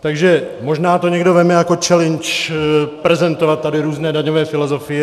Takže možná to někdo vezme jako challenge prezentovat tady různé daňové filozofie.